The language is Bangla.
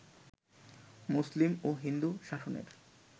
মুসলিম ও হিন্দু শাসনের